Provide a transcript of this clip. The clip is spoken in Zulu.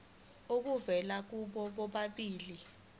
obuvela kubo bobabili